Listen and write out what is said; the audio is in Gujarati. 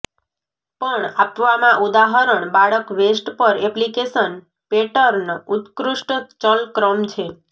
પણ આપવામાં ઉદાહરણ બાળક વેસ્ટ પર એપ્લિકેશન પેટર્ન ઉત્કૃષ્ટ ચલ ક્રમ છે